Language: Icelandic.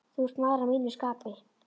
Þú ert maður að mínu skapi.